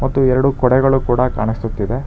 ಮತ್ತು ಎರಡು ಕೊಡೆಗಳು ಕೂಡ ಕಾಣಿಸುತ್ತಿದೆ.